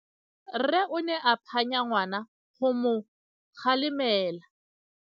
Rre o ne a phanya ngwana go mo galemela.